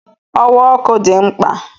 Ọwa ọkụ dị mkpa